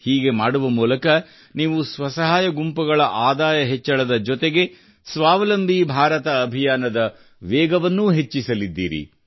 ಹೀಗೆ ಮಾಡುವ ಮೂಲಕ ನೀವು ಸ್ವಸಹಾಯ ಗುಂಪುಗಳ ಆದಾಯ ಹೆಚ್ಚಳದ ಜೊತೆಗೆ ಸ್ವಾವಲಂಬಿ ಭಾರತ ಅಭಿಯಾನದ ವೇಗವನ್ನೂ ಹೆಚ್ಚಿಸಲಿದ್ದೀರಿ